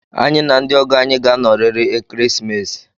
Anyị na ndị ọgọ anyị ga-anọrịrị ekeresimesi